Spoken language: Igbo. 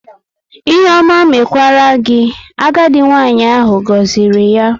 "Ihe ọma mekwara gị", agadi nwanyị ahụ goziri ya